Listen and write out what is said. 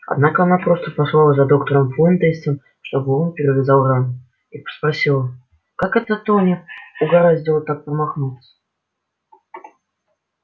однако она просто послала за доктором фонтейном чтобы он перевязал рану и спросила как это тони угораздило так промахнуться